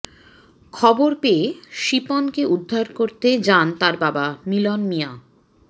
খবর পেয়ে শিপনকে উদ্ধার করতে যান তার বাবা মিলন মিয়া